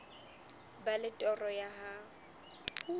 ba le toro ya ho